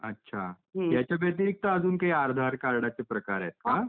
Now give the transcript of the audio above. याच्या व्यतिरिक्त पण काही आधार कार्डचे प्रकार आहेत का .